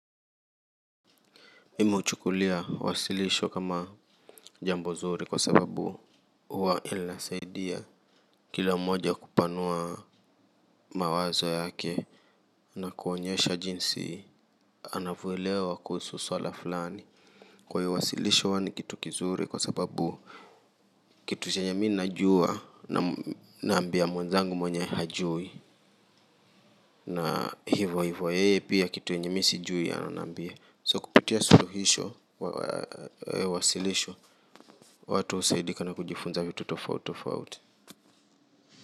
Mimi huchukulia wasilisho kama jambo zuri kwa sababu huwa inasaidia kila moja kupanua mawazo yake na kuonyesha jinsi anavyoelewa kuhusu swala flani kwaivo wasilisho ni vizuri kwa sababu kitu chenye mi najua naambia mwenzangu mwenye hajui na hivo hivo yeye pia kitu yenye mi sijui ananambia. So kupitia suluhisho wasilisho watu husaidika na kujifunza vitu tofauti tofauti.